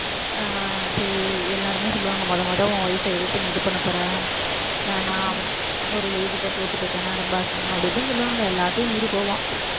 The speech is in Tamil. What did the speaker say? ஆஹ் சரி எல்லாருமே சொல்லுவாங்க முத முத உன் wife அ எதிர்த்து நீ இது பண்ணப் போற வேணாம் ஒரு lady ட்ட தோத்து போயிட்டேன்னா ரொம்ப அசிங்கம் அப்படி இப்படின்னு சொல்லுவாங்க எல்லாத்தையும் மீறி போவான்